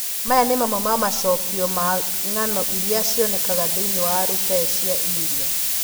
Maya nĩ mamwe ma macokio ma ng'ano iria cionekaga thĩinĩ wa rupee cia India: